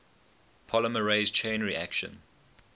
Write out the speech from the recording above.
polymerase chain reaction